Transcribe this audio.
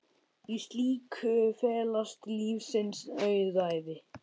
Í slíku felast lífsins auðæfi.